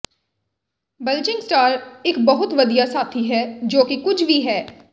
ਬਲਜਿੰਗ star ਇੱਕ ਬਹੁਤ ਵਧੀਆ ਸਾਥੀ ਹੈ ਜੋ ਕਿ ਕੁੱਝ ਵੀ ਹੈ